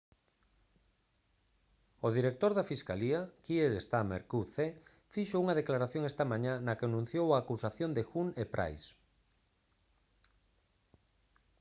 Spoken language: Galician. o director da fiscalía kier starmer qc fixo unha declaración esta mañá na que anunciou a acusación de huhne e pryce